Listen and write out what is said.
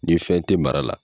Ni fɛn tɛ mara la.